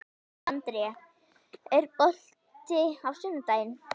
André, er bolti á sunnudaginn?